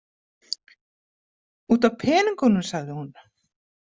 Út af peningunum, sagði hún.